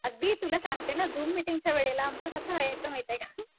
अगदी तुला सांगते ना झूम मिटींगच्या वेळेला आमचं कसं व्हायचं माहितीये का?